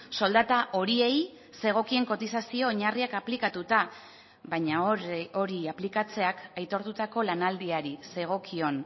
soldata horiei zegokien kotizazio oinarriak aplikatuta baina hori aplikatzeak aitortutako lanaldiari zegokion